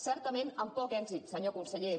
certament amb poc èxit senyor conseller